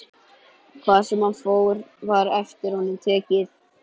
Hvar sem hann fór var eftir honum tekið.